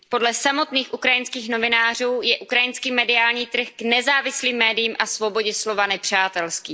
Podle samotných ukrajinských novinářů je ukrajinský mediální trh k nezávislým médiím a svobodě slova nepřátelský.